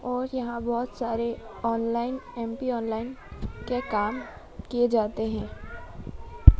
और यहां बहोत सारे ऑनलाइन एम_पी ऑनलाइन के काम किए जाते हैं।